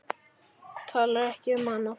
Talar ekki um annað.